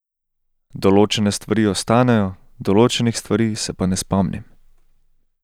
Določene stvari ostanejo, določenih stvari se pa ne spomnim.